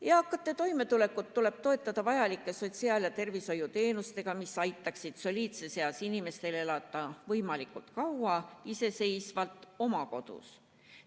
Eakate toimetulekut tuleb toetada vajalike sotsiaal- ja tervishoiuteenustega, mis aitaksid soliidses eas inimestel elada võimalikult kaua iseseisvalt oma kodus.